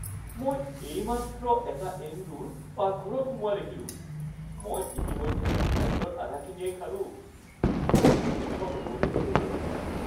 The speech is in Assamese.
মই এইমাত্ৰ এটা এন্দুৰ পাকঘৰত সোমোৱা দেখিলোঁ। মই ইতিমধ্যে মোৰ খাদ্যৰ আধাখিনিয়েই খালোঁ। মই অসুস্থ নহ’লেই হ’ল আৰু।